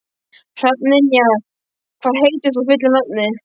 Hrafnynja, hvað heitir þú fullu nafni?